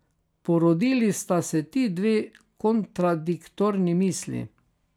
Porodili sta se ti dve kontradiktorni misli.